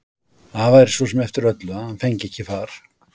Það væri svo sem eftir öllu að hann fengi ekki far.